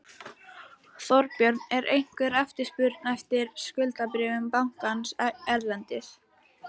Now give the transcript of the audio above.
Þorbjörn: Er einhver eftirspurn eftir skuldabréfum bankans erlendis?